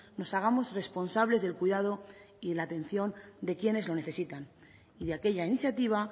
nos hagamos responsables del cuidado y la atención de quienes lo necesitan y de aquella iniciativa